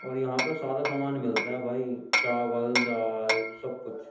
और यहां पर सारा सामान मिलता है भाई चावल दाल सब कुछ --